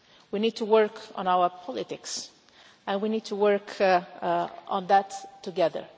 our societies. We need to work on our politics, and we need to work on